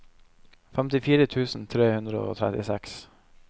femtifire tusen tre hundre og trettiseks